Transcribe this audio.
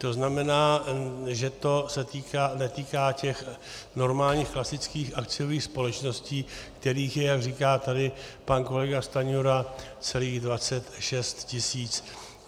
To znamená, že to se netýká těch normálních, klasických akciových společností, kterých je, jak říká tady pan kolega Stanjura, celých 26 tisíc.